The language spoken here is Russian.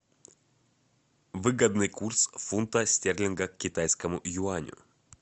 выгодный курс фунта стерлинга к китайскому юаню